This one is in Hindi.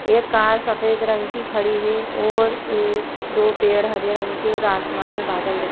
एक कार सफ़ेद रंग कि खड़ी हैं और एक दो पेड़ हरे रंग के और आसमान में बादल दिख --